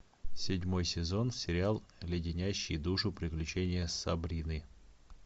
седьмой сезон сериал леденящие душу приключения сабрины